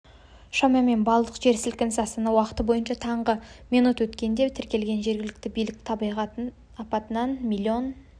шамамен балдық жер сілкінісі астана уақыты бойынша таңғы минут өткенде тіркелген жергілікті билік табиғат апатынан млн